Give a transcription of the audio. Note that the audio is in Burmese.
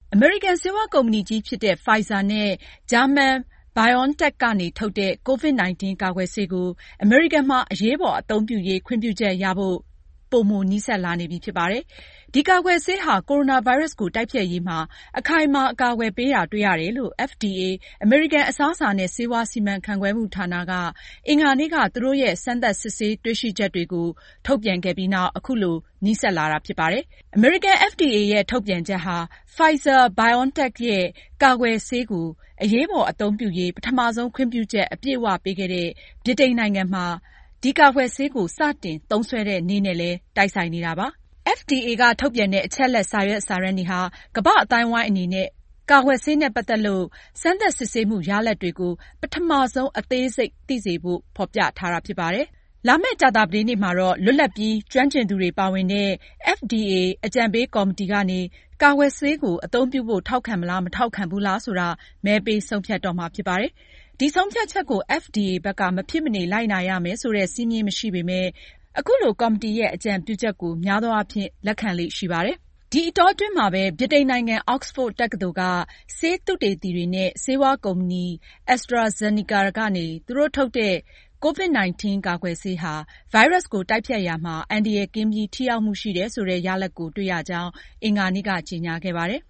အမေရိကန် ဆေးဝါးကုမ္ပဏီကြီးဖြစ်တဲ့Pfizer နဲ့ ဂျာမနီ BioNTech ကနေ ထုတ်တဲ့ COVID-19 ကာကွယ်ဆေးကို အမေရိကန်မှာအရေးပေါ်အသုံးပြုရေး ခွင့်ပြုချက်ရဖို့ ပိုမိုနီးစပ်လာနေပြီဖြစ်ပါတယ်။ ဒီကာကွယ်ဆေးဟာ ကိုရိုနာဗိုင်းရပ်စ်ကို တိုက်ဖျက်ရေးမှာ အခိုင်အမာအကာအကွယ်ပေးတာ တွေ့ရတယ်လို့ FDA အမေရိကန် အစားအစာနဲ့ ဆေးဝါးစီမံခန့်ခွဲမှုဌာနက အင်္ဂါနေ့က သူတို့ရဲ့စစ်ဆေးတွေ့ရှိမှု အချက်အလက်တွေကို ထုတ်ပြန်ခဲ့တာပါ။ အခုလို အမေရိကန် FDA ရဲ့ ထုတ်ပြန်ချက်ဟာ Pfizer-BioNTech ရဲ့ ကာကွယ်ဆေးကို အရေးပေါ်အသုံးပြုရေး ပထမဆုံး ခွင့်ပြုချက် အပြည့်အဝပေးခဲ့တဲ့ ဗြိတိန်နိုင်ငံမှာ ကာကွယ်ဆေးကို စတင်သုံးစွဲတဲ့ နေ့နဲ့လည်း တိုက်ဆိုင်နေပါတယ်။ FDA ကထုတ်ပြန်တဲ့ အချက်အလက်စာရွက်စာတမ်းတွေဟာ ကမ္ဘာ့အသိုင်းအဝိုင်းအနေနဲ့ ကာကွယ်ဆေးနဲ့ ပတ်သက်လို့ စမ်းသပ် စစ်ဆေးမှုရလဒ်တွေကိုပထမဆုံး အသေးစိတ်သိစေဖို့ ဖေါ်ပြထားတာဖြစ်ပါတယ်။ လာမယ့် ကြာသပတေးနေ့မှာတော့ လွတ်လပ်ပြီး ကျွမ်းကျင်သူတွေပါဝင်တဲ့ FDA အကြံပေးကော်မတီကနေ ကာကွယ်ဆေးကို အသုံးပြုဖို့ ထောက်ခံမလား မထောက်ခံဘူးလားဆိုတာ မဲပေးဆုံးဖြတ်မှာဖြစ်ပါတ်။ ဒီဆုံးဖြတ်ချက်ကို FDA ဘက်က မဖြစ်မနေ လိုက်နာရမယ်ဆိုတဲ့ စည်းမျဉ်းမရှိပေမဲ့ အခုလို ကော်မတီရဲ့ အကြံပြုချက်ကို များသောအားဖြင့် လက်ခံလေ့ရှိပါတယ်။ ဒီအတောအတွင်းမှာပဲ ဗြိတိန်နိုင်ငံ Oxford တက္ကသိုလ်က ဆေးသုတေသီတွေနဲ့ဆေးဝါးကုမ္ပဏီ AstraZeneca ကနေ သူတို့ထုတ်တဲ့ COVID-19 ကာကွယ်ဆေးဟာ ဗိုင်းရပ်စ်ကို တိုက်ဖျက်ရာမှာ အန္တရာယ်ကင်းပြီး ထိရောက်မှုရှိတယ်ဆိုတဲ့ ရလဒ်ကို တွေ့ရကြောင်း အင်္ဂါနေ့က ကြေညာခဲ့ပါတယ်။